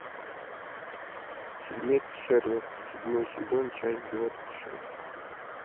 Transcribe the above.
фильмец шерлок седьмой сезон часть двадцать шесть